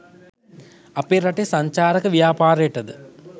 අප රටේ සංචාරක ව්‍යාපාරයට ද